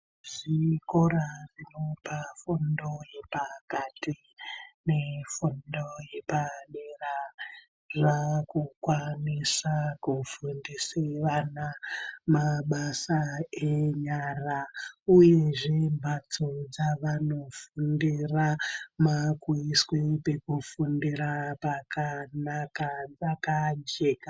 Zvikora zvinopa fundo yepakati nefundo yepadera zvaakukwanisa kufundise vana mabasa enyara uyezve mbatso dzavanofundira maakuiswe pekufundira pakanaka pakajeka.